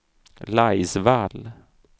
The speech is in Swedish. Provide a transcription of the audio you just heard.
Laisvall